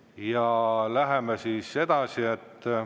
Ja läheme edasi.